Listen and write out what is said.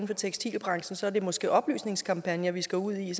for tekstilbranchen så er det måske oplysningskampagner vi skal ud i